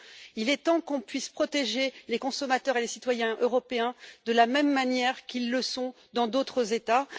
Il est temps qu'on puisse protéger les consommateurs et les citoyens européens de la même manière qu'ils le sont dans d'autres États.